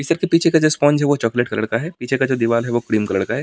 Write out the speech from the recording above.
इस सर के पीछे का जो स्पोंज है वो चॉकलेट कलर का है पीछे का जो दीवार है वो क्रीम कलर का है।